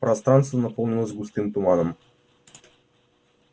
пространство наполнилось густым туманом